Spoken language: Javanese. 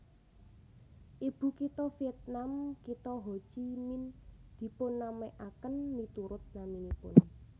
Ibukitha Vietnam kitha Ho Chi Minh dipunnamèaken miturut naminipun